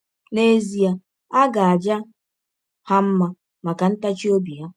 N’ezie a ga - aja ha mma maka ntachi ọbi ha.